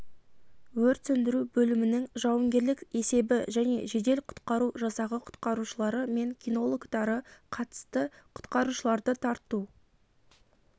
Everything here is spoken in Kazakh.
өрт сөндіру бөлімінің жауынгерлік есебі және жедел құтқару жасағы құтқарушылары мен кинологтары қатысты құтқарушыларды тарту